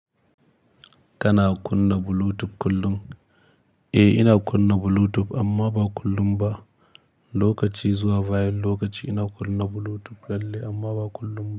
Kana kunna Bluetooth kullum? Eh, ina kunna Bluetooth amma ba kullum ba. Lokaci zuwa, bayan lokaci ina kunna Bluetooth lalle amma ba kullum ba.